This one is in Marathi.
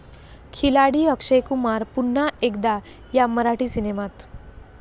खिलाडी अक्षय कुमार पुन्हा एकदा 'या' मराठी सिनेमात!